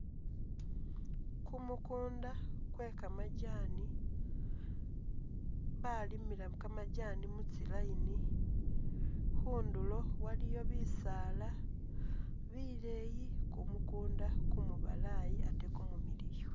Kumukunda kwe kamajaani, balimila kamajaani mutsi line khundulo waliyo bisaala bileeyi kumukunda kumu balaayi ate kumumiliyu.